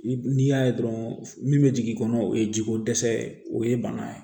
N'i y'a ye dɔrɔn min bɛ jigin i kɔnɔ o ye jiko dɛsɛ ye o ye bana ye